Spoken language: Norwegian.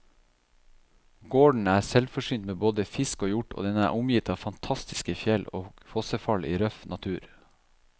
Gården er selvforsynt med både fisk og hjort, og den er omgitt av fantastiske fjell og fossefall i røff natur.